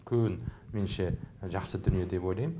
үлкен меніңше жақсы дүние деп ойлаймын